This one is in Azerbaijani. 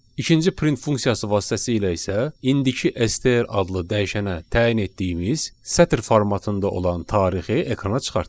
İkinci print funksiyası vasitəsilə isə indiki STR adlı dəyişənə təyin etdiyimiz sətr formatında olan tarixi ekrana çıxartdıq.